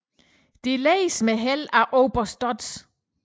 Disse lededes med held af oberst Dodds